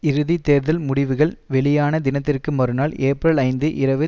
இறுதி தேர்தல் முடிவுகள் வெளியான தினத்திற்கு மறுநாள் ஏப்பிரல் ஐந்து இரவு